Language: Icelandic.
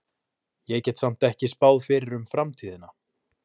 Ég get samt ekki spáð fyrir um framtíðina.